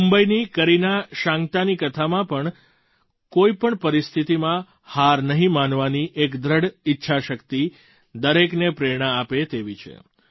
મુંબઈની કરીના શાન્ક્તાની કથામાં પણ કોઈ પણ પરિસ્થિતિમાં હાર નહીં માનવાની એક દૃઢ ઈચ્છાશક્તિ દરેકને પ્રેરણા આપે તેવી છે